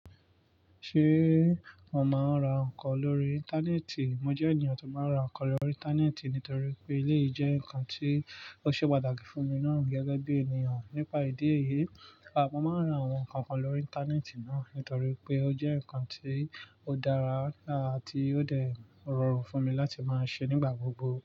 Ṣé mo máa ń ra nǹkan lórí Íńtánẹ́ẹ̀tì? Mo jẹ́ ènìyàn tó máa ń ra nǹkan lórí Íńtánẹ́ẹ̀tì nítorí pé eleyi jẹ́ nǹkan tí ó ṣe pàtàkì fún mi nàá gẹ́gẹ́ bí ènìyàn nípa ìdí èyí, àmo máa ń ra àwọn nǹkan kan lórí Íńtánẹ́ẹ̀tì náà nítorí pé ó jẹ́ nǹkan tí ó dára àti ó dẹ̀ rọrùn fún mi láti máa ṣe nígbà gbogbo.